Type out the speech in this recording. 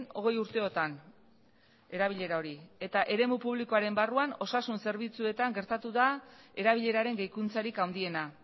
hogei urteotan erabilera hori eta eremu publikoaren barruan osasun zerbitzuetan gertatu da erabileraren gehikuntzarik handiena